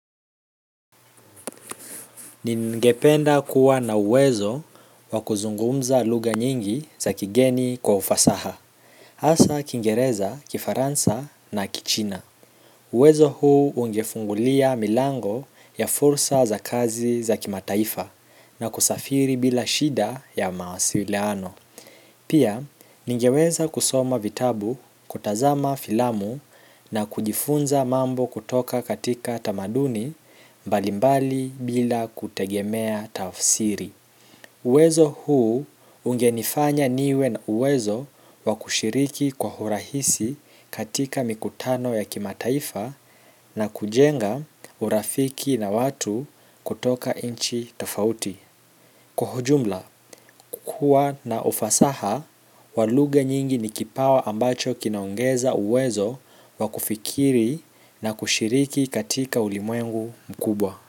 Ningependa kuwa na uwezo wa kuzungumza lugha nyingi za kigeni kwa ufasaha. Hasa Kiingereza, Kifaransa na Kichina. Uwezo huu ungefungulia milango ya fursa za kazi za kimataifa na kusafiri bila shida ya mawasiliano. Pia, ningeweza kusoma vitabu, kutazama filamu na kujifunza mambo kutoka katika tamaduni mbalimbali bila kutegemea tafsiri. Uwezo huu ungenifanya niwe na uwezo wa kushiriki kwa hurahisi katika mikutano ya kimataifa na kujenga urafiki na watu kutoka nchi tofauti. Kwa hujumla kuwa na ufasaha wa lugha nyingi ni kipawa ambacho kinaongeza uwezo wa kufikiri, na kushiriki katika ulimwengu mkubwa.